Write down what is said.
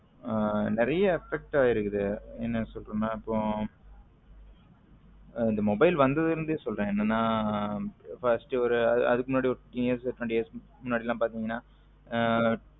நறிய effect ஆகிருக்கு இப்போ என்ன சொல்ல்றதுன் இந்த mobile வந்ததுல இருந்து சொல்லுறேன் என்னன்னா first ஒரு அதுக்கு முன்னாடி fifteen years twenty years முன்னடிலம் பாத்திங்கன